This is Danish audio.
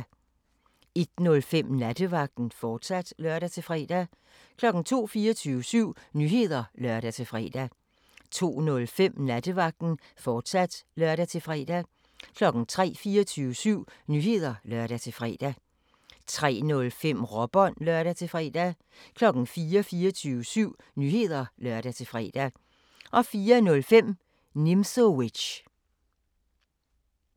01:05: Nattevagten, fortsat (lør-fre) 02:00: 24syv Nyheder (lør-fre) 02:05: Nattevagten, fortsat (lør-fre) 03:00: 24syv Nyheder (lør-fre) 03:05: Råbånd (lør-fre) 04:00: 24syv Nyheder (lør-fre) 04:05: Nimzowitsch